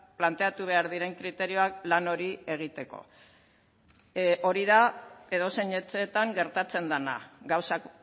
planteatu behar diren kriterioak lan hori egiteko hori da edozein etxeetan gertatzen dena gauzak